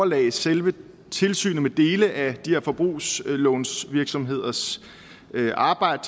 lagde selve tilsynet med dele af de her forbrugslånsvirksomheders arbejde